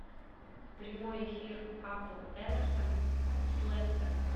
прямой эфир апл эвертон с лестером